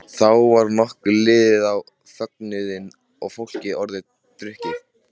Þá var nokkuð liðið á fögnuðinn og fólk orðið drukkið.